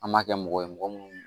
An b'a kɛ mɔgɔ ye mɔgɔ minnu